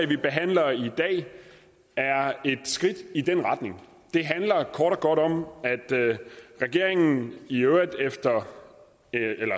vi behandler i dag er et skridt i den retning det handler kort og godt om at regeringen i øvrigt